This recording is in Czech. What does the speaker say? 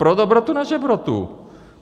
Pro dobrotu na žebrotu.